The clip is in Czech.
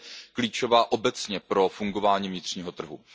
Ta je klíčová obecně pro fungování vnitřního trhu.